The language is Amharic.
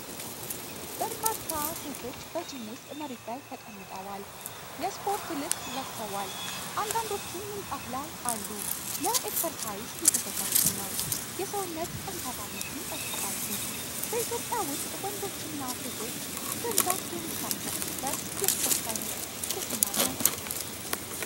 በርካታ ሴቶች በ ጂም ውስጥ መሬት ላይ ተቀምጠዋል። የ ስፖርት ልብስ ለብሰዋል፣ አንዳንዶቹም ምንጣፍ ላይ አሉ። ለ ኤክሰርሳይዝ እየተዘጋጁ ነው። የሰውነት ጠንካራነትን ይጠብቃሉ። በኢትዮጵያ ውስጥ ወንዶችና ሴቶች በብዛት የሚሳተፉበት የስፖርት ዓይነት የትኛው ነው?